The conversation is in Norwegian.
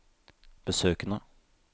besøkene